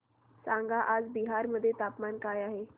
सांगा आज बिहार मध्ये तापमान काय आहे